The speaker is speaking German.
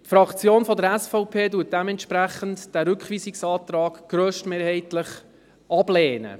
Dementsprechend lehnt die Fraktion der SVP den Rückweisungsantrag grösstmehrheitlich ab.